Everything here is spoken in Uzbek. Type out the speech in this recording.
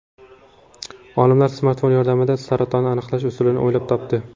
Olimlar smartfon yordamida saratonni aniqlash usulini o‘ylab topdi.